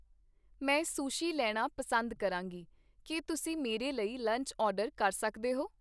ਮੈਂ ਸੁਸ਼ੀ ਲੈਣਾ ਪਸੰਦ ਕਰਾਂਗੀ ਕੀ ਤੁਸੀਂ ਮੇਰੇ ਲਈ ਲੰਚ ਆਰਡਰ ਕਰ ਸਕਦੇ ਹੋ?